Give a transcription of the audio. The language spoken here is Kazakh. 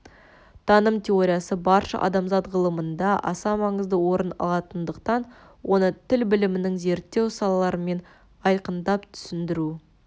таным теориясы барша адамзат ғылымында аса маңызды орын алатындықтан оны тіл білімінің зерттеу салаларымен айқындап түсіндіру